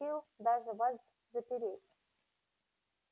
просил даже вас запереть